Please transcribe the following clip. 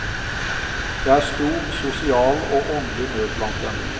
Det er stor sosial og åndelig nød blant dem.